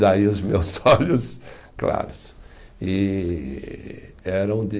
Daí os meus olhos claros. E eram de